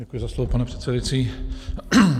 Děkuji za slovo, pane předsedající.